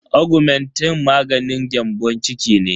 Augmentin maganin gyambon ciki ne.